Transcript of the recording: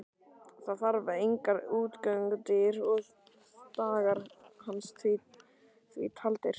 Þar fann hann engar útgöngudyr og dagar hans því taldir.